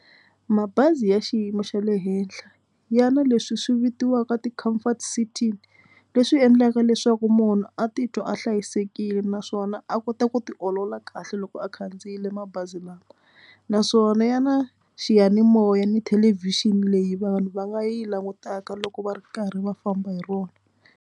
Mabazi ya xiyimo xa le henhla ya na leswi swi vitiwaka ti-comfort sitting leswi endlaka leswaku munhu a titwa a hlayisekile naswona a kota ku ti olola kahle loko a khandziyile mabazi lawa naswona ya na xiyanimoya ni thelevhixini leyi vanhu va nga yi langutaka loko va ri karhi va famba hi rona.